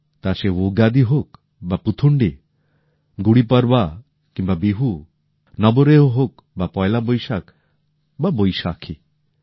তা সে উগাদি হোক বা পুথুন্ডি গুড়ি পড়বা কিম্বা বিহু নবরেহ হোক বা পয়লা বৈশাখ বা বৈশাখী